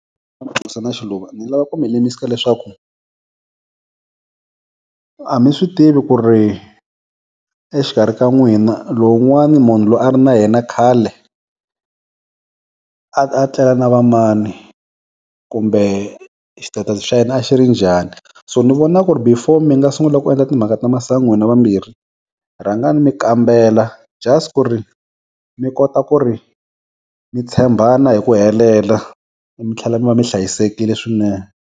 Xiluva ni lava ku mi lemukisa leswaku a mi swi tivi ku ri exikarhi ka n'wina lowu n'wani munhu loyi a ri na yena khale a tlela na va mani kumbe xitetasi xa yena a xi ri njhani so ni vona ku ri before mi nga sungula ku endla timhaka ta masangu n'wina vambirhi rhangani mi kambela just ku ri mi kota ku ri mi tshembana hi ku helela mi tlhela mi va mi hlayisekile swinene.